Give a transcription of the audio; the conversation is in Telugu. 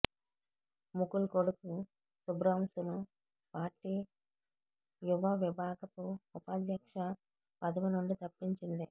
ముకుల్ కొడుకు శుభ్రాంశును పార్టీ యువవిభాగపు ఉపాధ్యక్ష పదవి నుండి తప్పించింది